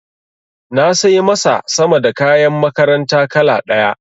Na sai masa sama da kayan makaranta kala ɗaya.